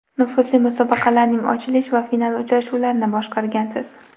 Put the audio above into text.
Nufuzli musobaqalarning ochilish va final uchrashuvlarini boshqargansiz.